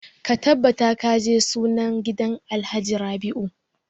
Ka tabbata ka je sunan gidan alhaji rabiu!